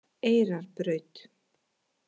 Eyrarbraut